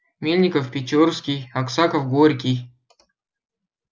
мельников печорский аксаков горький